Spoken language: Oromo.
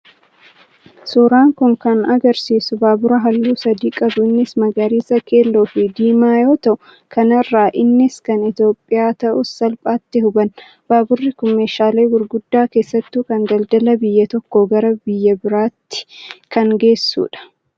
Suuraan kun kan agarsiisu baabura halluu sadii qabu innis magariisa keelloo fi diimaa yoo ta'u, kanarraa innis kan Itoophiyaa ta'uusaa salphaatti hubanna. Baaburri kun meeshaalee gurguddaa keessattuu kan daldalaa biyya tokkoo gara biraatti kan geessudha.